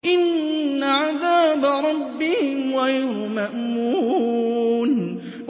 إِنَّ عَذَابَ رَبِّهِمْ غَيْرُ مَأْمُونٍ